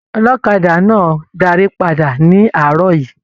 Ọlọ́kadà náà darí pàdà nì aarọ yìí.